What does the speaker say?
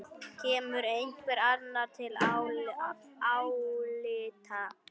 Kemur einhver annar til álita?